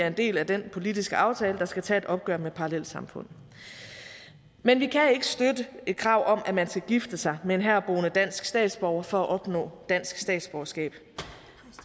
en del af den politiske aftale der skal tage et opgør med parallelsamfund men vi kan ikke støtte et krav om at man skal gifte sig med en herboende dansk statsborger for at opnå dansk statsborgerskab